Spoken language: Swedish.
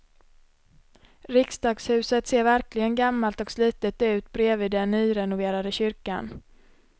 Riksdagshuset ser verkligen gammalt och slitet ut bredvid den nyrenoverade kyrkan.